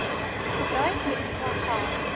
gebruik ekstra geld